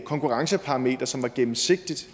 konkurrenceparameter som var gennemsigtigt